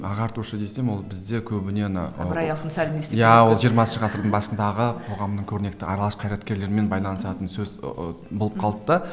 ағартушы десем ол бізде көбіне ана иә ол жиырмасыншы ғасырдың басындағы қоғамның көрнекті аралас қарйраткерлерімен байланысатын сөз ыыы болып қалды да